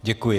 Děkuji.